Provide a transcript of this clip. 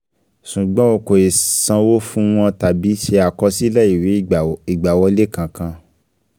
Ṣùgbọ́n o kò ì sanwó fun wọn tàbí ṣe àkọsílẹ̀ ìwé ìgbàwọlé kankan